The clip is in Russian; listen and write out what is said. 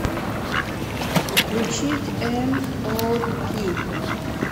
включить эм о пи